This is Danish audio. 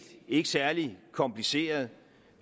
ikke særlig kompliceret